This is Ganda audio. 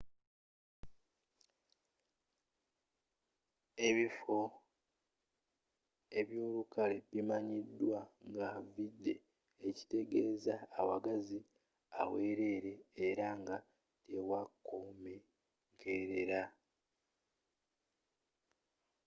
ebifo ebyolukalu bimanyiddwa nga vidde” ekitegezza awagazzi awelele era nga tewakomenkelela